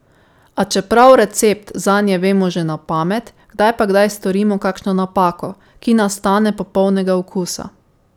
A čeprav recept zanje vemo že na pamet, kdaj pa kdaj storimo kakšno napako, ki nas stane popolnega okusa.